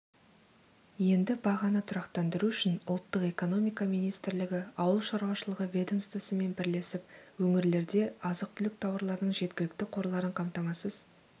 енді бағаны тұрақтандыру үшін ұлттық экономика министрлігі ауылшаруашылығы ведомствосымен бірлесіп өңірлерде азық-түлік тауарларының жеткілікті қорларын қамтамасыз